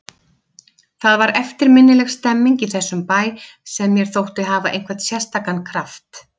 Það var eftirminnileg stemmning í þessum bæ sem mér þótti hafa einhvern sérstakan kraft.